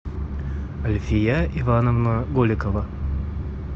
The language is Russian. альфия ивановна голикова